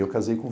Eu casei com